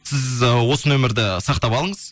сіз ы осы номерді сақтап алыңыз